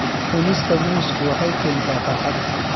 Cunista muusku waxay keentaa farxad.